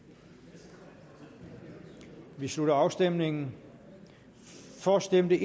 vi slutter afstemningen for stemte